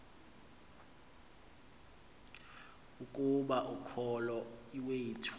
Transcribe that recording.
ukuba ukholo iwethu